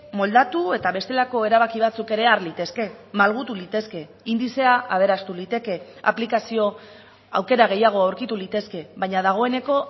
moldatu eta bestelako erabaki batzuk ere har litezke malgutu litezke indizea aberastu liteke aplikazio aukera gehiago aurkitu litezke baina dagoeneko